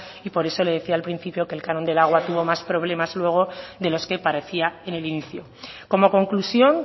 y por eso le decía al principio que el canon del agua tuvo más problemas luego de los que parecía en el inicio como conclusión